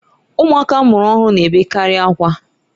Ụmụaka amụrụ ọhụrụ na-ebekarị akwa